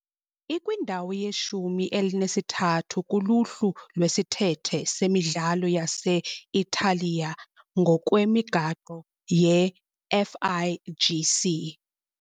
Ikwindawo yeshumi elinesithathu kuluhlu lwesithethe semidlalo yase-Italiya ngokwemigaqo ye- FIGC .